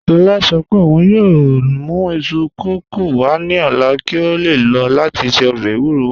Lọla sọ̀ pẹ̀ ọ̀un yoo mù isu kọkọ wa ni ọla ki a le lọ lati ṣe ọbẹ̀ ewúrò wa